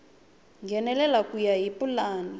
nghenelela ku ya hi pulani